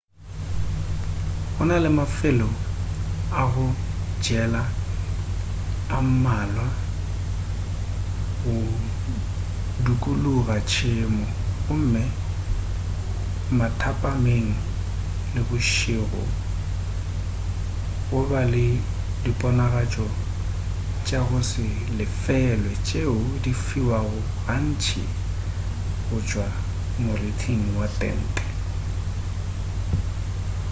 go na le mafelo a go jela a mmalwa go dukuluga tšhemo gomme mathapameng le bošego go ba le diponagatšo tša go se lefelwe tšeo di fiwago gantši go tšwa morithing wa tente